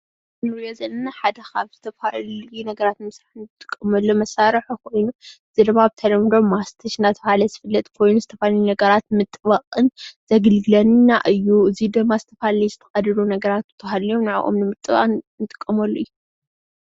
እንሪኦ ዘለና ሓደ ኻብ ዝተፈላለዩ ነገራት ንምስራሕ እንጥቀመሉ መሳርሒኾይኑ እዙይ ድማ ብተለምዶ ማስቲሽ እናተብሃለ ዝፍለጥ ኾይኑ ዝተፈላለዩ ነገራት ንምጥባቅን ዘገልግለና እዩ እዚ ድማ ዝተፈላለዩለ ዝተቀደደ ነገራት ተሃልዮም ንዕዖም ንምጥባቅን እንጥቀመሉ እዩ።